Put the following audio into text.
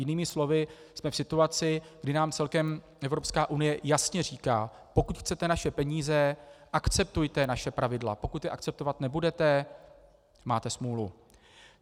Jinými slovy jsme v situaci, kdy nám celkem Evropská unie jasně říká: "Pokud chcete naše peníze, akceptujte naše pravidla, pokud je akceptovat nebudete, máte smůlu".